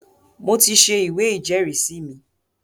mo ti se “ ìwé ìjẹ́rìísí” mi.